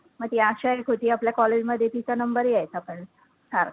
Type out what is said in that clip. मग ती आशा एक होती आपल्या college मध्ये तिचा number यायचा पण सारखा